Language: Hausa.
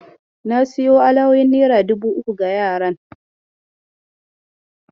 Na sayo alawowin nera dubu uku ga yaran.